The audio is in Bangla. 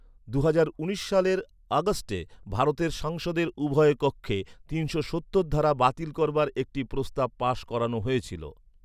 দুহাজার উনিশ সালের আগস্টে ভারতের সংসদের উভয় কক্ষে তিনশো সত্তর ধারা বাতিল করবার একটি প্রস্তাব পাশ করানো হয়েছিল।